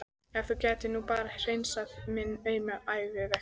Ef þú gætir nú bara hreinsað minn auma æviveg.